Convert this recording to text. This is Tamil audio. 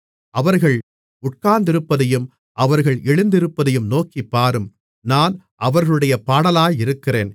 அவர்கள் உட்கார்ந்திருப்பதையும் அவர்கள் எழுந்திருப்பதையும் நோக்கிப் பாரும் நான் அவர்களுடைய பாடலாயிருக்கிறேன்